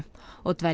og dvelja